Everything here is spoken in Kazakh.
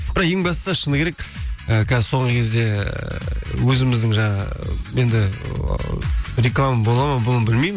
бірақ ең бастысы шыны керек ы соңғы кезде ы өзіміздің жаңағы ы енді ы реклама болады ма бұны білмеймін